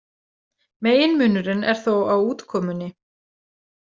Meginmunurinn er þó á útkomunni.